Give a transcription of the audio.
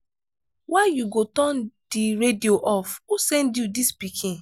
why you go turn the radio off? who send you dis pikin?